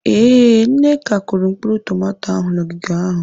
Ee, Nneka kụrụ mkpụrụ tomato ahụ n'ogige ahụ.